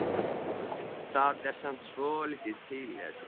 Það er samt svolítið til í þessu.